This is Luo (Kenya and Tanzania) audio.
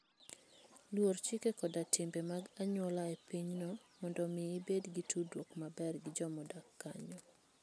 Luor chike koda timbe mag anyuola e pinyno mondo omi ibed gi tudruok maber gi joma odak kanyo.